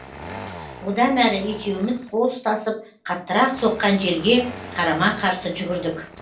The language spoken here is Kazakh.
одан әрі екеуміз қол ұстасып қаттырақ соққан желге қарама қарсы жүгірдік